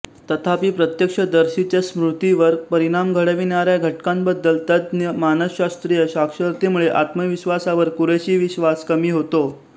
तथापि प्रत्यक्षदर्शींच्या स्मृतीवर परिणाम घडविणाऱ्या घटकांबद्दल तज्ज्ञ मानसशास्त्रीय साक्षरतेमुळे आत्मविश्वासावर कुरेशी विश्वास कमी होतो